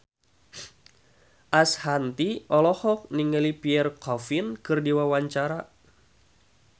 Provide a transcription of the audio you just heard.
Ashanti olohok ningali Pierre Coffin keur diwawancara